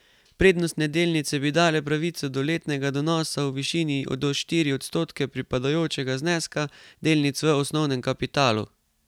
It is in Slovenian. Prednostne delnice bi dale pravico do letnega donosa v višini do štiri odstotke pripadajočega zneska delnic v osnovnem kapitalu.